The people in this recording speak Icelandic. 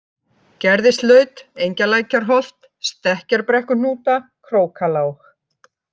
Gerðislaut, Engjalækjarholt, Stekkjarbrekkuhnúta, Krókalág